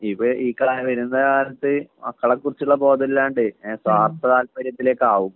ഇപ്പോ ഈ കാല ഈ വരുന്ന കാലത്ത് മക്കളെക്കുറിച്ചുള്ള ബോധമില്ലാണ്ട് ഏ സ്വാർത്ഥ താൽപര്യത്തിലേക്കാവും